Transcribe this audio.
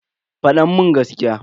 Fada mun gaskiya.